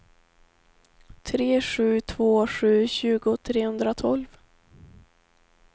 tre sju två sju tjugo trehundratolv